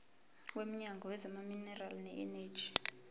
womnyango wezamaminerali neeneji